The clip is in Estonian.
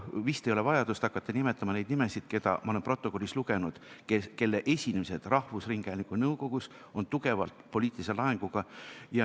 Vist ei ole vaja hakata nimetama nende inimeste nimesid, keda ma olen protokollis maininud ja kelle esinemised rahvusringhäälingu nõukogus on olnud tugevalt poliitilise laenguga.